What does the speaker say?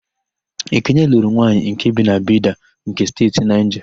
Ekene lụrụ nwanyị nke bi na Bida nke Steeti Naịja.